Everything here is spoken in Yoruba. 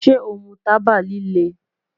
Ṣe o mu taba lile?